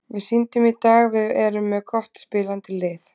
Við sýndum í dag að við erum með gott spilandi lið.